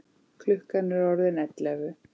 Klukkan er orðin ellefu.